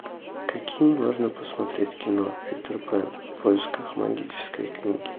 какие можно посмотреть кино питер пэн в поисках магической книги